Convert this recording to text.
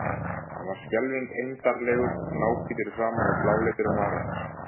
Hann var skelfing eymdarlegur, náhvítur í framan og bláleitur um varirnar.